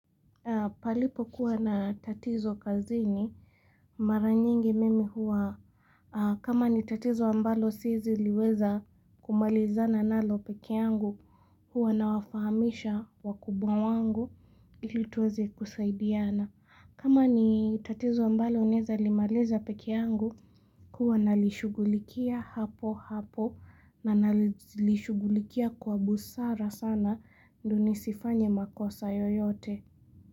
Palipo kuwa na tatizo kazini mara nyingi mimi huwa kama ni tatizo ambalo sieziliweza kumaliza na nalo peke yangu huwa na wafahamisha wakubwa wangu ili tuweze kuzaidiana. Kama ni tatizo ambalo naeza limaliza peke yangu huwa nalishugulikia hapo hapo na nalishugulikia kwa busara sana ndo nisifanya makosa yoyote.